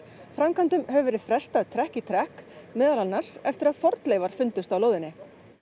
framkvæmdum hefur verið frestað trekk í trekk meðal annars eftir að fornleifar fundust á lóðinni